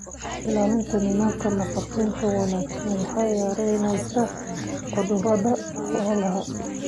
Ilaalinta nidaamka nafaqaynta wanaagsan waxay yaraynaysaa cudurada xoolaha.